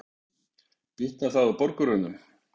Bitnar það á borgurunum?